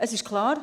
Es ist klar: